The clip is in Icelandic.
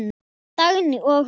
Dagný og Rósa.